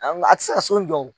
a tɛ se ka so in jɔ wo